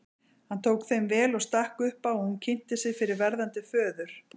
Hann tók þeim vel og stakk upp á að hún kynnti sig fyrir verðandi föður.